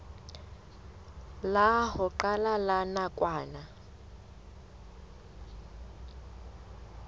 la ho qala la nakwana